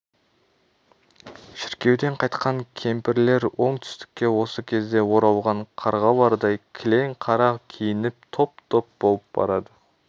шіркеуден қайтқан кемпірлер оңтүстікке осы кезде оралған қарғалардай кілең қара киініп топ-топ болып барады